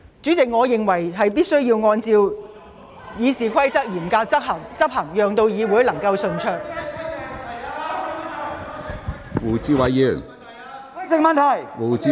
主席，我認為必須嚴格執行《議事規則》，讓會議能夠順利進行。